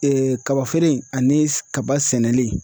kabafeere in ani kaba sɛnɛlen